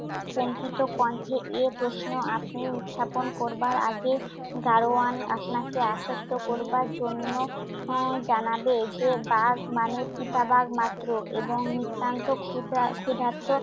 কম্পিত কণ্ঠে এই প্রশ্ন আপনি উথাপন করবার আগে গাড়োয়ান আপনাকে আশ্বস্ত করবার জন্য আহ জানাবে যে বাঘ মানে চিতাবাঘ মাত্র এবং নিতান্ত ক্ষধা~ ক্ষুধার্ত